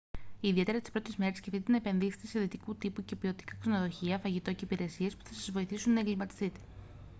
ιδιαίτερα τις πρώτες μέρες σκεφτείτε να «επενδύσετε» σε δυτικού τύπου και ποιοτικά ξενοδοχεία φαγητό και υπηρεσίες που θα σας βοηθήσουν να εγκλιματιστείτε